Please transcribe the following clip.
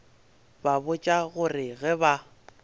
ba botša gore ge ba